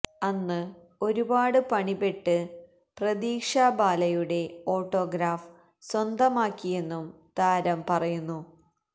അന്ന് ഒരുപാട് പണിപ്പെട്ട് പ്രതീക്ഷ ബാലയുടെ ഓട്ടോഗ്രാഫ് സ്വന്തമാക്കിയെന്നും താരം പറയുന്നു